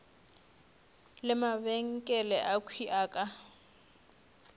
le mabenkele akhwi a ka